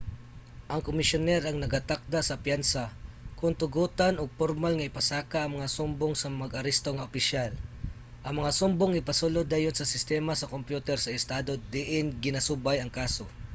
ang komisyoner ang nagatakda sa piyansa kon tugutan ug pormal nga ipasaka ang mga sumbong sa mag-aresto nga opisyal. ang mga sumbong ipasulod dayon sa sistema sa kompyuter sa estado diin ginasubay ang kaso